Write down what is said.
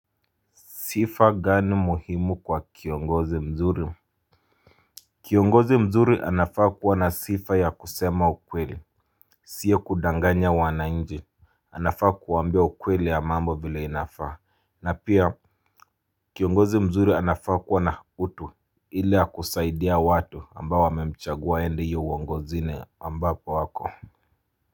Sifa gani muhimu kwa kiongozi mzuri? Kiongozi mzuri anafaa kuwa na sifa ya kusema ukweli. Siyo kudanganya wananchi. Anafaa kuwaambia ukweli ya mambo vile inafaa. Na pia kiongozi mzuri anafaa kuwa na utu. Ile ya kusaidia watu ambao wamemchagua aende hiyo uongozini ambapo wako.